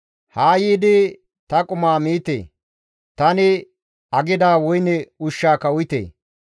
«Haa yiidi ta qumaa miite; tani aggida woyne ushshaaka uyite!